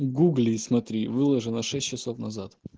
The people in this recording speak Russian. в гугле смотри выложено шесть часов назад